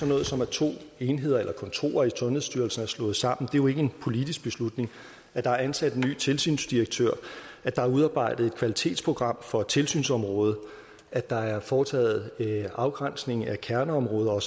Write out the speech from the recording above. noget som at to enheder eller kontorer i sundhedsstyrelsen er slået sammen det er jo ikke en politisk beslutning at der er ansat en ny tilsynsdirektør at der er udarbejdet et kvalitetsprogram for tilsynsområdet at der er foretaget afgrænsning af kerneområder og